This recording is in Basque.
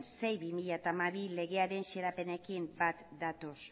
sei barra bi mila hamabi legearen xedapenekin bat datoz